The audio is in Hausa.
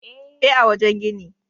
E, a wajen gini.